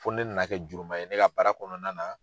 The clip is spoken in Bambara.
Fo ni ne nana kɛ juruma ye ne ka baara kɔnɔna na